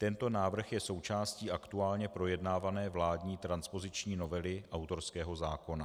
Tento návrh je součástí aktuálně projednávané vládní transpoziční novely autorského zákona.